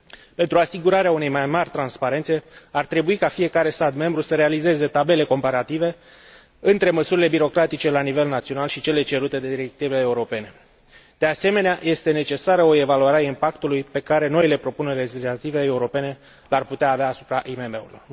Pentru asigurarea unei mai mari transparențe, ar trebui ca fiecare stat membru să realizeze tabele comparative între măsurile birocratice la nivel național și cele cerute de directivele europene. De asemenea, este necesară o evaluare a impactului pe care noile propuneri legislative europene le ar putea avea asupra IMM urilor.